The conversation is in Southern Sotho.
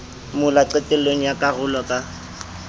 mola qetellong ya karolo ka